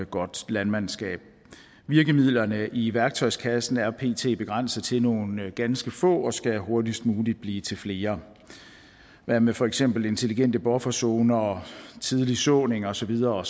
godt landmandskab virkemidlerne i værktøjskassen er pt begrænset til nogle ganske få og skal hurtigst muligt blive til flere hvad med for eksempel intelligente bufferzoner tidlig såning og så videre